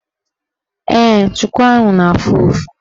Ee, chuku ahụ na-afụ ụfụ.